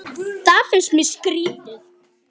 Það finnst mér skrýtið